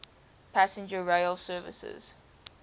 passenger rail services